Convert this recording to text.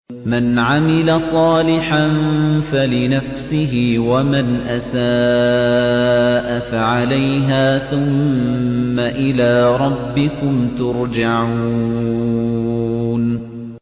مَنْ عَمِلَ صَالِحًا فَلِنَفْسِهِ ۖ وَمَنْ أَسَاءَ فَعَلَيْهَا ۖ ثُمَّ إِلَىٰ رَبِّكُمْ تُرْجَعُونَ